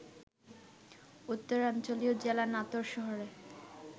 উত্তরাঞ্চলীয় জেলা নাটোর শহরের